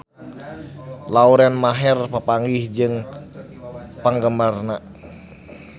Lauren Maher papanggih jeung penggemarna